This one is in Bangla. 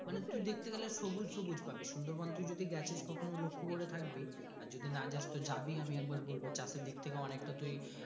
মানে তুই দেখতে গালে সবুজ সবুজ পাবি সুন্দর বন তুই গেছিস কখনো লক্ষ্য করে থাকবি আর যদি না যাস তো জাবি আমি একবার বলবো চাষ এর দিকথেকে অনেকটা তুই।